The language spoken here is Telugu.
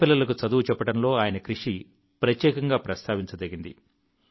పేద పిల్లలకు చదువు చెప్పడంలో ఆయన కృషి ప్రత్యేకంగా ప్రస్తావించదగింది